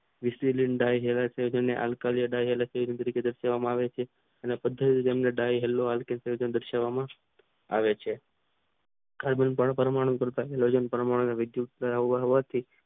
વિશલિત ડે કાર્ય છે આંકાર કરવામાં આવે છે. આવે છે પરમાણુ